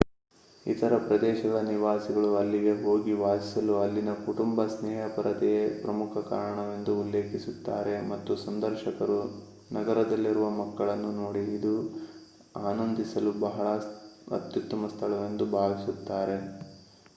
ಇತರ ಪ್ರದೇಶಗಳ ನಿವಾಸಿಗಳು ಅಲ್ಲಿಗೆ ಹೋಗಿ ವಾಸಿಸಲು ಅಲ್ಲಿನ ಕುಟುಂಬ-ಸ್ನೇಹಪರತೆಯೇ ಪ್ರಮುಖ ಕಾರಣವೆಂದು ಉಲ್ಲೇಖಿಸುತ್ತಾರೆ ಮತ್ತು ಸಂದರ್ಶಕರು ನಗರದಲ್ಲಿರುವ ಮಕ್ಕಳನ್ನು ನೋಡಿ ಇದು ಆನಂದಿಸಲು ಅತ್ಯುತ್ತಮ ಸ್ಥಳವೆಂದು ಭಾವಿಸುತ್ತಾರೆ